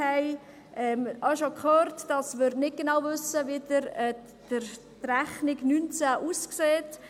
Wir haben auch schon gehört, dass wir nicht genau wissen, wie die Rechnung 2019 aussieht.